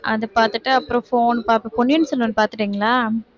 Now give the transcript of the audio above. அதை பாத்துட்டு அப்புறம் phone பார்ப்பேன். பொன்னியின் செல்வன் பாத்துட்டீங்களா